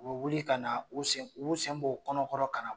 U bɛ wuli ka na, u b'u sen b'ɔ u kɔnɔ kɔrɔn ka na.